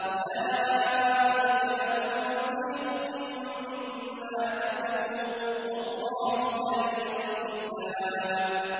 أُولَٰئِكَ لَهُمْ نَصِيبٌ مِّمَّا كَسَبُوا ۚ وَاللَّهُ سَرِيعُ الْحِسَابِ